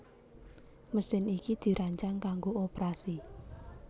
Mesin iki dirancang kanggo oprasi